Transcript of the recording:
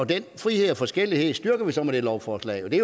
den frihed og forskellighed styrker vi så med det lovforslag og det